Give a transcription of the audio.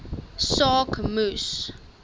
saak moes